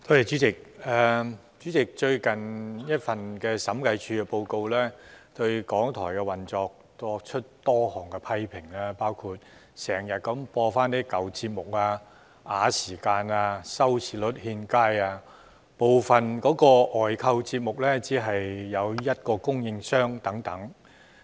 主席，最近的審計署署長報告對港台的運作作出多項批評，包括經常重播舊節目、拖延時間、收視率欠佳，以及部分外購節目只有一個供應商等。